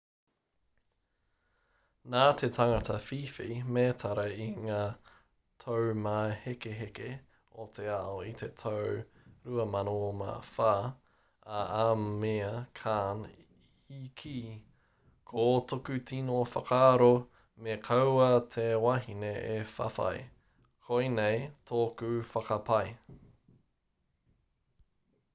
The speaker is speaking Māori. nā te tangata whiwhi mētara i ngā taumāhekeheke o te ao i te tau 2004 a amir khan i kī ko tōku tino whakaaro me kaua te wahine e whawhai koinei tōku whakapae